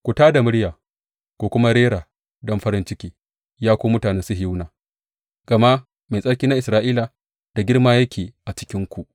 Ku tā da murya ku kuma rera don farin ciki, ya ku mutanen Sihiyona, gama Mai Tsarki na Isra’ila da girma yake a cikinku.